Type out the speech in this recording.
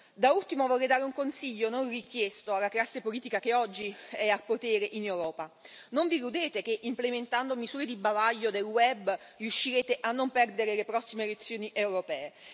Da ultimo vorrei dare un consiglio non richiesto alla classe politica che oggi è al potere in Europa non vi illudete che implementando misure di bavaglio del web riuscirete a non perdere le prossime elezioni europee.